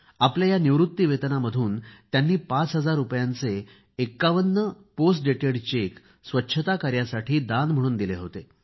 आपल्या या निवृत्ती वेतनामधून त्यांनी पाच हजार रुपयांचे 51 पोस्ट डेटेड चेक स्वच्छता कार्यासाठी दान म्हणून दिले होते